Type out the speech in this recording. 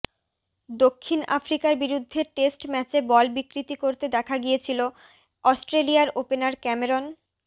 দক্ষিণ আফ্রিকার বিরুদ্ধে টেস্ট ম্যাচে বল বিকৃতি করতে দেখা গিয়েছিল অস্ট্রেলিয়ার ওপেনার ক্যামেরন